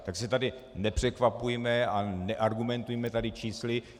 Tak se tady nepřekvapujme a neargumentujme tady čísly.